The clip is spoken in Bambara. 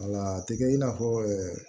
a tɛ kɛ i n'a fɔ